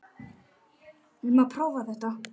Eigum við að prófa þetta?